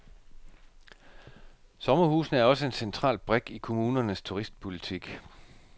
Sommerhusene er også en central brik i kommunernes turistpolitik.